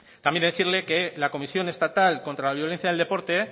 también decirle que la comisión estatal contra la violencia en el deporte